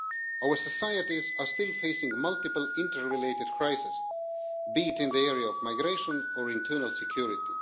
Our societies are still facing multiple inter-related crises, be it in the area of migration or internal security.